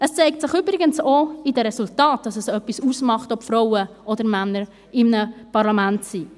Es zeigt sich übrigens auch an den Resultaten, dass es etwas ausmacht, ob Frauen oder Männer in einem Parlament sind.